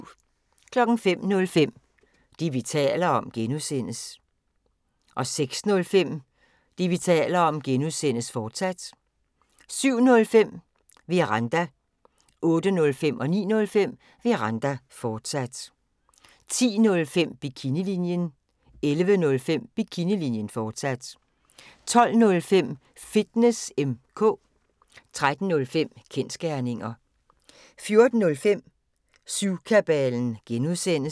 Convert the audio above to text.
05:05: Det, vi taler om (G) 06:05: Det, vi taler om (G), fortsat 07:05: Veranda 08:05: Veranda, fortsat 09:05: Veranda, fortsat 10:05: Bikinilinjen 11:05: Bikinilinjen, fortsat 12:05: Fitness M/K 13:05: Kensgerninger 14:05: Syvkabalen (G)